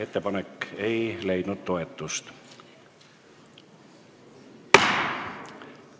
Ettepanek ei leidnud toetust.